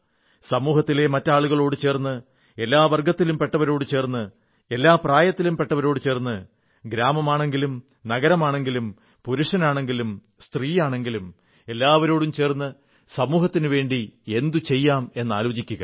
സമൂഹത്തിലെ മറ്റ് ആളുകളോട് ചേർന്ന് എല്ലാ വർഗ്ഗത്തിലും പെട്ടവരോടു ചേർന്ന് എല്ലാ പ്രായത്തിലും പെട്ടവരോടു ചേർന്ന് ഗ്രാമമാണെങ്കിലും നഗരമാണെങ്കിലും പുരുഷനാണെങ്കിലും സ്ത്രീയാണെങ്കിലും എല്ലാവരോടും ചേർന്ന് സമൂഹത്തിനുവേണ്ടി എന്തു ചെയ്യാമെന്നാലോചിക്കുക